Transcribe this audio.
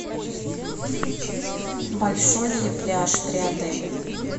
большой ли пляж при отеле